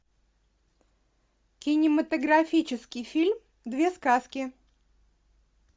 кинематографический фильм две сказки